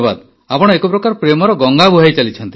ଆପଣ ଏକପ୍ରକାର ପ୍ରେମର ଗଙ୍ଗା ବୁହାଇ ଚାଲିଛନ୍ତି